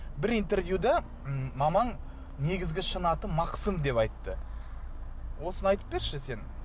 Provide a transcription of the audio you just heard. бір интервьюда м мамаң негізгі шын аты мақсым деп айтты осыны айтып берші сен